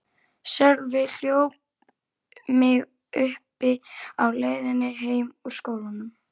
Sölvi hljóp mig uppi á leiðinni heim úr skólanum.